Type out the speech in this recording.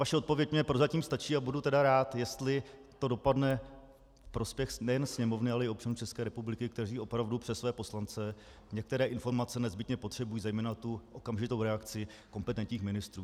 Vaše odpověď mi prozatím stačí a budu tedy rád, jestli to dopadne ve prospěch nejen Sněmovny, ale i občanů České republiky, kteří opravdu přes své poslance některé informace nezbytně potřebují, zejména tu okamžitou reakci kompetentních ministrů.